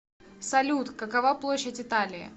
салют какова площадь италии